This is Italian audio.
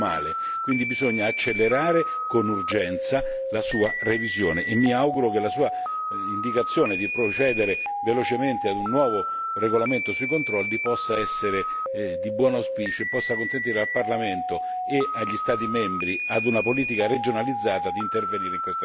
Quindi bisogna accelerare con urgenza la sua revisione, e mi auguro che la Sua indicazione di procedere velocemente ad un nuovo regolamento sui controlli possa essere di buon auspicio e possa consentire al Parlamento e agli Stati membri, ad una politica regionalizzata, di intervenire in questa direzione.